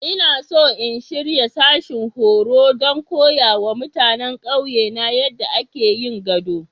Ina so in shirya sashin horo don koya wa mutanen ƙauyena yadda ake yin gado.